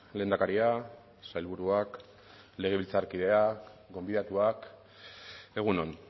lehendakaria sailburuak legebiltzarkideak gonbidatuak egun on